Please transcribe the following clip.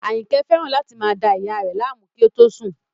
Àyìnkẹ́ fẹ́ràn láti máa da ìyá rẹ̀ láàmú kí ó tó sùn